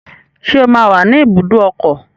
Ṣé ó máa wà ní ibùdó ọkọ̀?